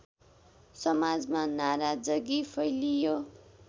समाजमा नाराजगी फैलियो